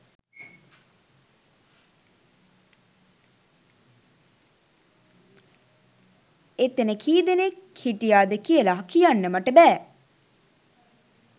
එතැන කී දෙනෙක් හිටියාද කියලා කියන්න මට බෑ